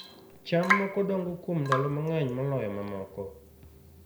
cham moko dongo kuom ndalo mang'eny moloyo mamoko